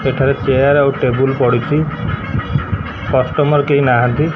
ଏଠାରେ ଚେୟାର ଆଉ ଟେବୁଲ୍ ପଡିଚି କଷ୍ଟମର କେଇ ନାହାଁନ୍ତି।